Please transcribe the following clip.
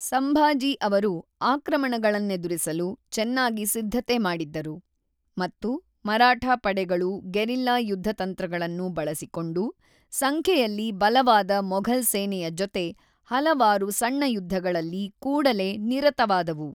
ಸಂಭಾಜಿ ಅವರು ಆಕ್ರಮಣಗಳನ್ನೆದುರಿಸಲು ಚೆನ್ನಾಗಿ ಸಿದ್ಧತೆಮಾಡಿದ್ದರು, ಮತ್ತು ಮರಾಠಾ ಪಡೆಗಳು ಗೆರಿಲ್ಲಾ ಯುದ್ಧ ತಂತ್ರಗಳನ್ನು ಬಳಸಿಕೊಂಡು ಸಂಖ್ಯೆಯಲ್ಲಿ ಬಲವಾದ ಮೊಘಲ್ ಸೇನೆಯ ಜೊತೆ ಹಲವಾರು ಸಣ್ಣ ಯುದ್ಧಗಳಲ್ಲಿ ಕೂಡಲೇ ನಿರತವಾದವು.